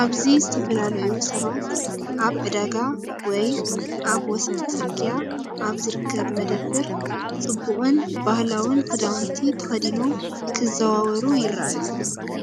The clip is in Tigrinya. ኣብዚ ዝተፈላለዩ ሰባት ኣብ ዕዳጋ ወይ ኣብ ወሰን ጽርግያ ኣብ ዝርከብ መደበር፡ ጽቡቕን ባህላውን ክዳውንቲ ተኸዲኖም ክዘዋወሩ ይረኣዩ።